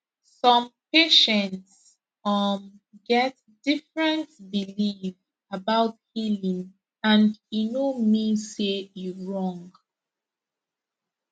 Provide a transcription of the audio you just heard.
some patients um get different belief about healing and e no mean say e wrong